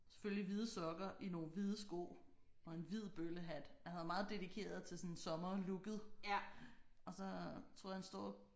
Selvfølgelig hvide sokker i nogle hvide sko og en hvid bøllehat han er meget dedikeret til sådan sommerlooket og så tror jeg han står og